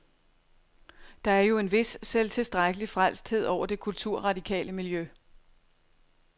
Der er jo en vis selvtilstrækkelig frelsthed over det kulturradikale miljø.